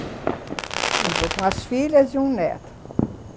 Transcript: E vou com as filhas e um neto.